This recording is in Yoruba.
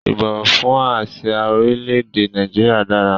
Ìbọ̀wọ̀ fún àsìá orílẹ̀ èdè Nàìjíríà dára